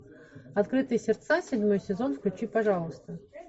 открытые сердца седьмой сезон включи пожалуйста